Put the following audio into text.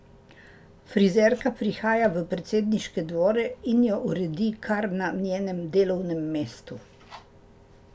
Frizerka prihaja v predsedniške dvore in jo uredi kar na njenem delovnem mestu.